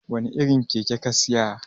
wane irin Keke ka Siya?